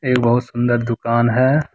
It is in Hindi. ये बहोत सुंदर दुकान है।